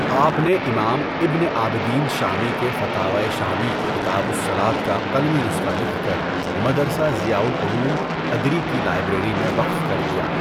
آپ نے امام ابن عابدین شامی کے فتاویٰ شامی کی کتابُ الصّلوٰة کا قلمی نسخہ لکھ کر مدرسہ ضیاء العلوم ادری کی لائبریری میں وقف کر دیا۔